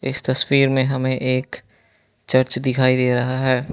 इस तस्वीर मे हमे एक चर्च दिखाई दे रहा है।